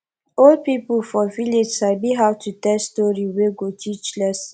old pipo for village sabi how to tell story wey go teach lesson